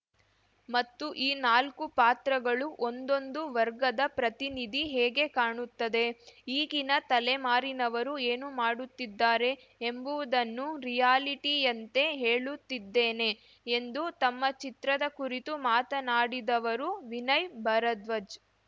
ಮತ್ತು ಈ ನಾಲ್ಕು ಪಾತ್ರಗಳು ಒಂದೊಂದು ವರ್ಗದ ಪ್ರತಿನಿಧಿ ಹೇಗೆ ಕಾಣುತ್ತದೆ ಈಗಿನ ತಲೆಮಾರಿನವರು ಏನು ಮಾಡುತ್ತಿದ್ದಾರೆ ಎಂಬುವುದನ್ನು ರಿಯಾಲಿಟಿಯಂತೆ ಹೇಳುತ್ತಿದ್ದೇನೆ ಎಂದು ತಮ್ಮ ಚಿತ್ರದ ಕುರಿತು ಮಾತನಾಡಿದವರು ವಿನಯ್‌ ಭರದ್ವಜ್‌